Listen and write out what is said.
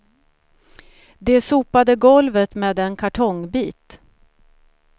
De sopade golvet med en kartongbit.